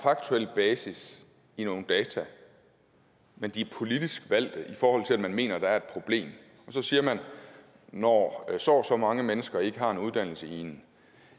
faktuel basis i nogle data men de er politisk valgte i forhold til at man mener at der er et problem og så siger man at når så og så mange mennesker ikke har en uddannelse